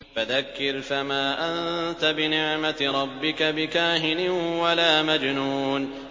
فَذَكِّرْ فَمَا أَنتَ بِنِعْمَتِ رَبِّكَ بِكَاهِنٍ وَلَا مَجْنُونٍ